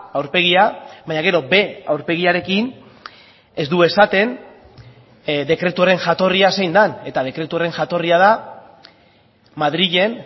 aurpegia baina gero b aurpegiarekin ez du esaten dekretuaren jatorria zein den eta dekretu horren jatorria da madrilen